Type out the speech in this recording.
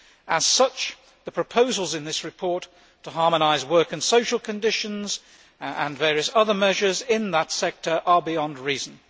As such, the proposals in this report to harmonise work and social conditions and various other measures in that sector are beyond reason.